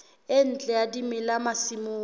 e ntle ya dimela masimong